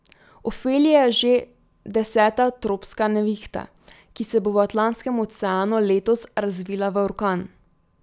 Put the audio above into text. Ofelija je že deseta tropska nevihta, ki se bo v Atlantskem oceanu letos razvila v orkan.